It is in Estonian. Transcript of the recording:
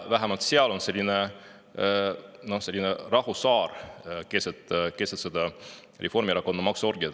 Pangamaks on püha lehm, selline rahusaar keset Reformierakonna maksuorgiat.